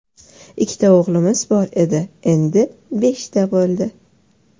Ikkita o‘g‘limiz bor edi, endi beshta bo‘ldi.